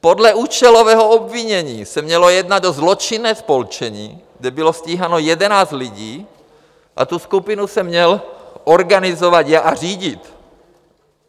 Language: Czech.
Podle účelového obvinění se mělo jednat o zločinné spolčení, kde bylo stíháno jedenáct lidí, a tu skupinu jsem měl organizovat a řídit.